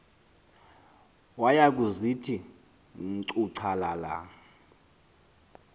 waya kuzithi ncuchalala